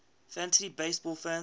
fantasy baseball fans